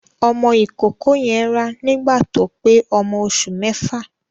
Ọmọ ìkókó yen rá nígbà tó pé ọmọ oṣù mẹ́fà.